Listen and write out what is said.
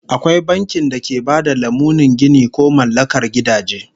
Akwai bankin da ke ba da lamunin ginin ko mallakar gidaje